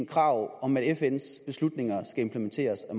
krav om at fns beslutninger skal implementeres af